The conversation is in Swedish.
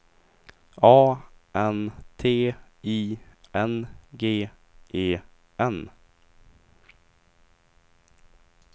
A N T I N G E N